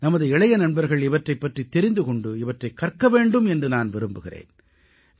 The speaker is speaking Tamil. நமது இளைய நண்பர்கள் இவற்றைப் பற்றித் தெரிந்து கொண்டு இவற்றைக் கற்க வேண்டும் என்று நான் விரும்புகிறேன்